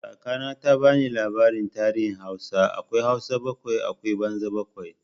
Kaka na ta ba ni labarin tarihin Hausa, akwai Hausa bakwai akwai banza bakwai.